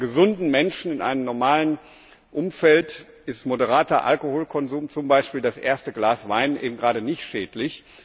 Aber bei gesunden Menschen in einem normalen Umfeld ist moderater Alkoholkonsum, zum Beispiel das erste Glas Wein, eben gerade nicht schädlich.